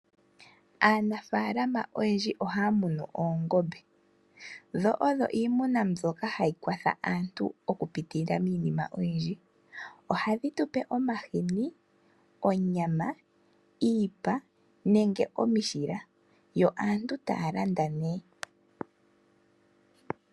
Aanafaalama oyendji ohaya munu oongombe, dho odho iimuna mbyoka hayi kwatha aantu okupitila miinima oyindji. Ohadhi tupe omahini , onyama, iipa nenge omishila. Yo aantu taya landa nee.